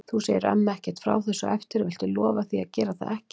Þú segir ömmu ekkert frá þessu á eftir. viltu lofa því að gera það ekki?